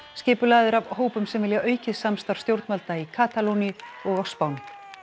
skipulagðir af hópum sem vilja aukið samstarf stjórnvalda í Katalóníu og á Spáni